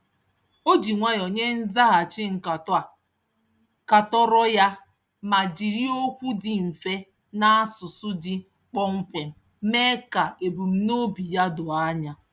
O ji nwayọ nye nzaghachi nkatọ a katọrọ ya ma jiri okwu dị mfe na asụsụ dị kpọmkwem mee ka ebumnobi ya doo anya.